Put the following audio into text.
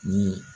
Ni